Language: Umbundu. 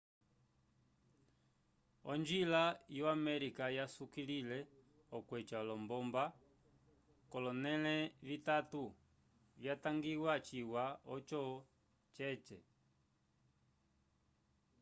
onjila yo-amerika yasukilile okweca olombomba k'olonẽle vitatu vyatangiwa ciwa oco cece